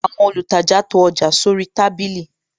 Àwọn olùtajà to ọjà sóri tábìlì